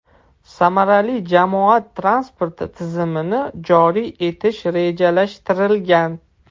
Samarali jamoat transporti tizimini joriy etish rejalashtirilgan.